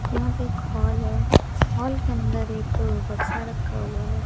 यहां पे एक हॉल है हॉल के अंदर एक बक्सा रखा हुआ है।